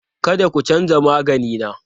Kada ku canza magani na!